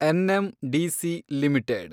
NMDC limited